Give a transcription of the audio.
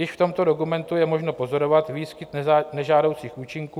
Již v tomto dokumentu je možno pozorovat výskyt nežádoucích účinků.